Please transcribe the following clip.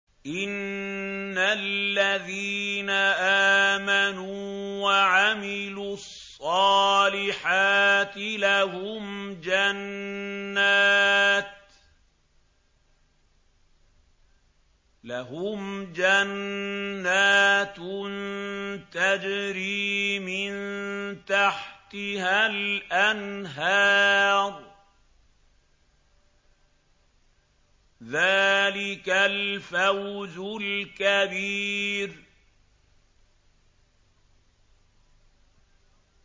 إِنَّ الَّذِينَ آمَنُوا وَعَمِلُوا الصَّالِحَاتِ لَهُمْ جَنَّاتٌ تَجْرِي مِن تَحْتِهَا الْأَنْهَارُ ۚ ذَٰلِكَ الْفَوْزُ الْكَبِيرُ